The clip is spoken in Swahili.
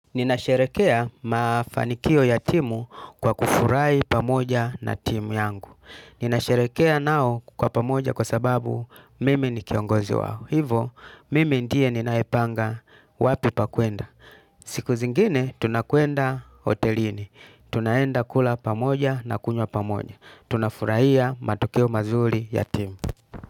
Ninasherekea mafanikio ya timu kwa kufurahi pamoja na timu yangu. Ninasherekea nao kwa pamoja kwa sababu mimi ni kiongozi wao. Hivo, mimi ndiye ninaepanga wapi pakuenda. Siku zingine, tunakuenda hotelini. Tunaenda kula pamoja na kunywa pamoja. Tunafurahia matokeo mazuri ya timu.